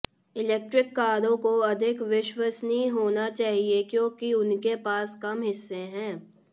electric कारों को अधिक विश्वसनीय होना चाहिए क्योंकि उनके पास कम हिस्से हैं